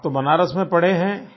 आप तो बनारस में पढ़े हैं